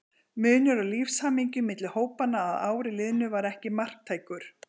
Munur á lífshamingju milli hópanna að ári liðnu var ekki marktækur.